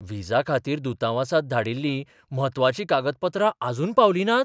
व्हिसाखातीर दुतावासांत धाडिल्लीं म्हत्वाचीं कागदपत्रां आजून पावलीं नात?